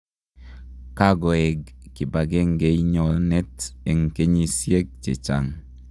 kogoeng kipagengeinyonet en kenyisieg chechang